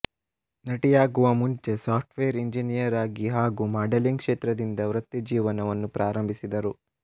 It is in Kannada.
ನಟಿಯಾಗುವ ಮುಂಚೆ ಸಾಫ್ಟ್ವೇರ್ ಎಂಜಿನಿಯರಾಗಿ ಹಾಗೂ ಮಾಡೆಲಿಂಗ್ ಕ್ಷೇತ್ರದಿಂದ ವೃತ್ತಿಜೀವನವನ್ನು ಪ್ರಾರಂಬಿಸಿದರು